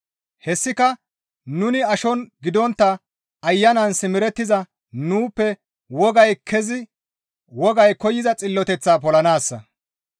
Hessika nuni ashon gidontta Ayanan simerettiza nuuppe wogay koyza xilloteththaa polanaassa.